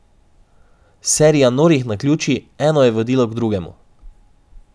Serija norih naključij, eno je vodilo k drugemu.